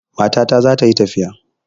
Matata za ta yi tafiya.